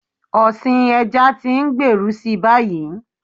Ọ̀sìn ẹja tí ń gbèrú si báyìí.